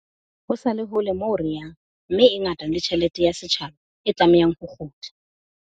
Ho sa le hole moo re yang mme e ngata le tjhelete ya setjhaba e tlamehang ho kgutla.